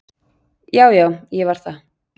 Já, já, ég var það.